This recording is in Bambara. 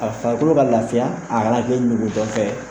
A farikolo ka lafiya a kana kɛ ɲuguntɔfɛn ye